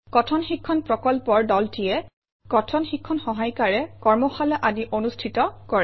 কথন শিক্ষণ প্ৰকল্পৰ দলটিয়ে কথন শিক্ষণ সহায়িকাৰে কৰ্মশালা আদি অনুষ্ঠিত কৰে